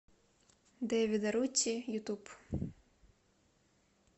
дэвид арутти ютуб